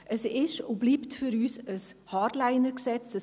Es ist und bleibt für uns ein Hardliner-Gesetz.